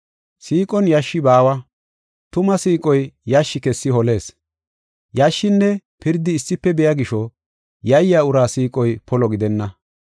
Siiqon yashshi baawa, tuma siiqoy yashshi kessi holees. Yashshinne pirdi issife biya gisho, yayiya uraa siiqoy polo gidenna.